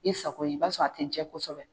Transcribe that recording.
I sako ye, i b'a sɔrɔ a te n jɛ kosɛbɛ.